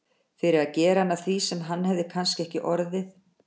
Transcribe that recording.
Fyrir að gera hann að því sem hann hefði kannski ekki orðið.